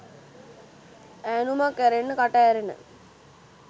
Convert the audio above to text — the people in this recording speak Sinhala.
ඈනුමක් ඇරෙන්න කට ඇරෙන